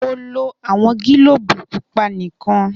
Mo lo awọn gilobu pupa nikan